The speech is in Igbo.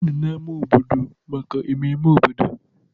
Kpọkọtanụ n'ámá obodo maka ememme obodo.